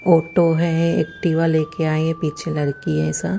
auto है Activa लेके आइ है पीछे लडकी है सा--